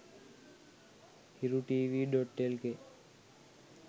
hirutv.lk